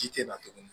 Ji tɛ na tuguni